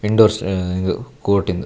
Indoors ಅಹ್ ಇಂದು court ಇಂದು.